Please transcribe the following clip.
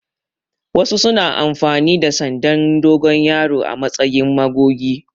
Wasu suna amfani da sandan dogon yaro a matsayin magogi.